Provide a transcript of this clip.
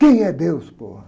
Quem é Deus?